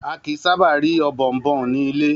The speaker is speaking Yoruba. A kìí sábà ri Ọ̀bọ̀ọ̀nbọọ̀n ni ilé.